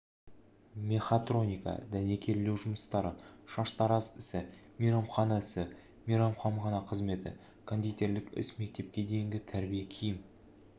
мехатроника дәнекерлеу жұмыстары шаштараз ісі мейрамхана ісі мейрамхана қызметі кондитерлік іс мектепке дейінгі тәрбие киім